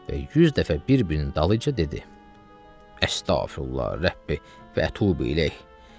Və 100 dəfə bir-birinin dalınca dedi: Əstəğfirullah, Rəbbi və töbə ilə.